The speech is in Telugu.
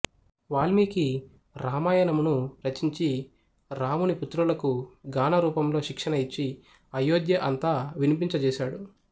వాల్మికి రామాయణమును రచించి రాముని పుత్రులకు గాన రూపంలో శిక్షణ ఇచ్చి అయోధ్య అంతా వినిపించ చేసాడు